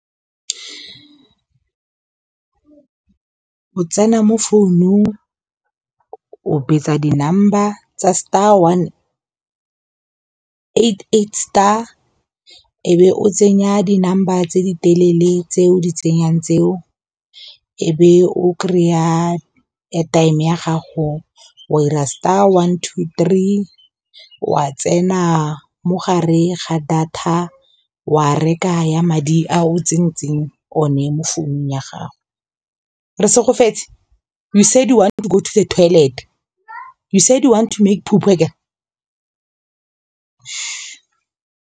O tsena mo founong o betsa di-number tsa star one eight eight star e be o tsenya di-number tse di telele tse o di tsenyang tseo e be o kry-a airtime ya gago wa ira star one two three wa tsena mogare ga data wa reka ya madi a o tsentseng one mo founong ya gago. Resegofetse you said you want to go to the toilet, you said you want to make .